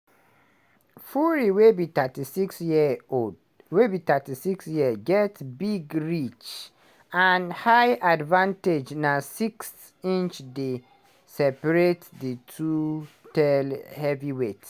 fury wey be36 year old wey be 36 years get big reach and height advantage na six inches dey separate di two tall heavyweights.